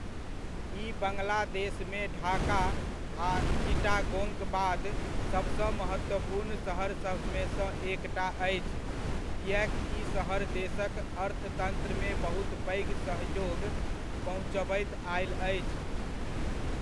ई बङ्गलादेशमे ढाका आ चिटागोङक बाद सभसँ महत्त्वपूर्ण शहरसभमेसँ एकटा अछि, किएक ई शहर देशक अर्थतन्त्रमे बहुत पैघ सहयोग पहुँचबैत आयल अछि।